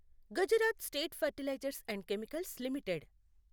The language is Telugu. Gujarat State Fertilizers and Chemicals limited